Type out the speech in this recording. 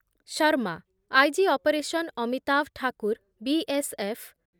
Sharma, I G operation Amitabh Thakur, B S F